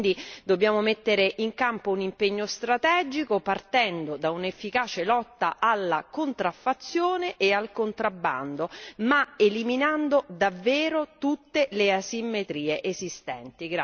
Quindi dobbiamo mettere in campo un impegno strategico partendo da un'efficace lotta alla contraffazione e al contrabbando ma eliminando davvero tutte le asimmetrie esistenti.